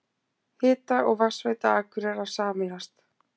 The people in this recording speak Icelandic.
Hita- og vatnsveita Akureyrar sameinast